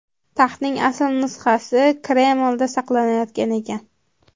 Taxtning asl nusxasi Kremlda saqlanayotgan ekan.